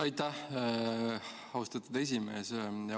Aitäh, austatud esimees!